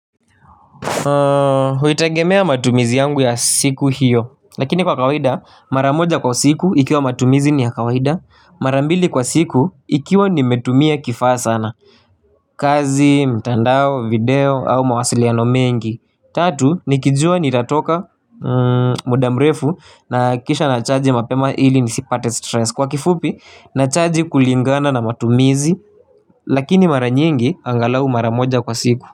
Huitegemea matumizi yangu ya siku hiyo. Lakini kwa kawaida maramoja kwa siku ikiwa matumizi ni ya kawaida. Marambili kwa siku ikiwa nimetumia kifaa sana. Kazi, mtandao, video au mawasiliano mengi. Tatu nikijua nitatoka mudamrefu na kisha nachaji mapema ili nisipate stress. Kwa kifupi nachaji kulingana na matumizi. Lakini maranyingi angalau maramoja kwa siku.